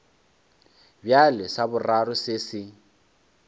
bjale sa boraro se se